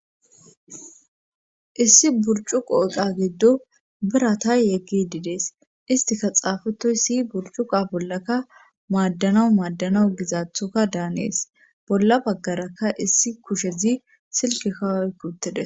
Issi burcu qooqa giddo birata yeggi didees istika xaafetoy si burcuqa bollakka maaddanawu maaddanawu gizaathoka daanees bolla baggaraka issi kushezi silki kawoy kuttides.